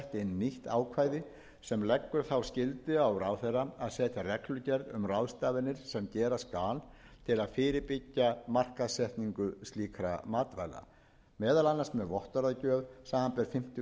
nýtt ákvæði sem leggur þá skyldu á ráðherra að setja reglugerð um ráðstafanir sem gera skal til að fyrirbyggja markaðssetningu slíkra matvæla meðal annars með vottorðagjöf samanber fimmtu